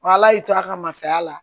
Wa ala y'i to a ka masaya la